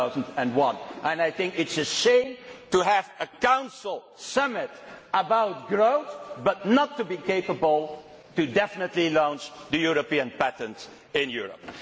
2001? I think it is a shame to have a Council summit about growth but not to be capable of definitely launching the European patent in Europe.